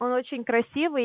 он очень красивый